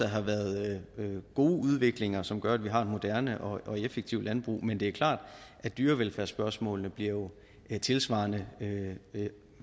har været god udvikling som gør at vi har et moderne og effektivt landbrug men det er klart at dyrevelfærdsspørgsmålene jo bliver tilsvarende